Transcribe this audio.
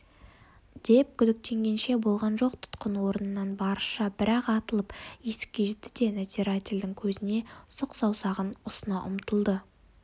деп күдіктенгенше болған жоқ тұтқын орнынан барысша бір-ақ атылып есікке жетті де надзирательдің көзіне сұқ саусағын ұсына ұмтылды